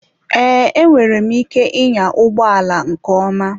Ee, enwere m ike ịnya ụgbọ ala nke ọma.